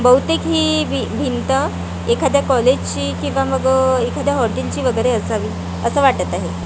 बहुतेक हि भि भिंत एखाद्या कॉलेजची किंवा मग अ एखाद्या हॉटेलची वगेरे असावी असं वाटत आहे .